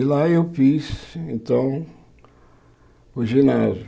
E lá eu fiz, então, o ginásio.